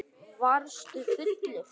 Varstu fullur?